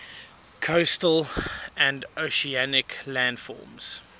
coastal and oceanic landforms